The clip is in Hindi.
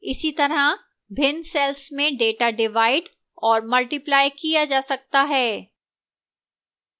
इसीतरह भिन्न cells में data divide और multiply किया जा सकता हैं